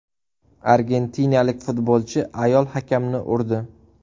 Argentinalik futbolchi ayol hakamni urdi.